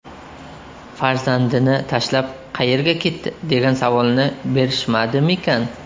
Farzandini tashlab, qayerga ketdi degan savolni berishmadimikan?